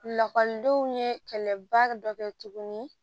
Lakɔlidenw ye kɛlɛbaa dɔ kɛ tuguni